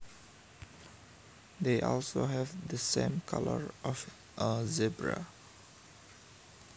They also have the same colours of a zebra